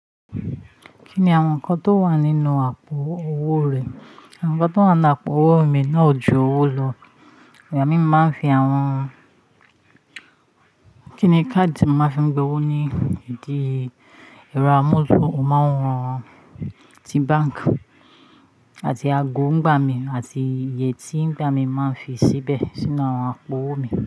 Kí ni àwọn nǹkan tó wà nínú àpò owó rẹ? Àwọn nǹkan tó wà ní àpò owó mi náà ju owó lọ. Ìgbà mí mo ma ń fi àwọn, kí ni káàdì tí mo máa fi n gba owó ní ìdí ẹ̀rọ amóhùnmáwòrán ti báǹkì àti ago ń gba mi àti iye tí ńigba mi ma ń fi síbẹ̀ sínú àpò owó mi.